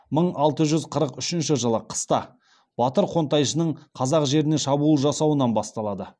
мың алты жүз қырық үшінші жылы қыста батыр қонтайшының қазақ жеріне шабуыл жасауынан басталады